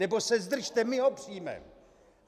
Nebo se zdržte, my ho přijmeme.